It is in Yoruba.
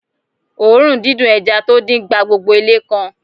Òórùn dídùn ẹja tó dín gba gbogbo ilé kan